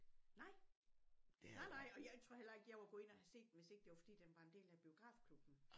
Nej nej nej og jeg tror heller ikke jeg var gået ind og havde set den hvis ikke det var fordi den var en del af biografklubben